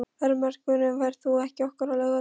Ermenrekur, ferð þú með okkur á laugardaginn?